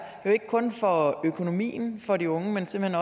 jo ikke kun for økonomien for de unge men simpelt